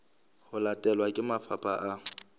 ho latelwa ke mafapha a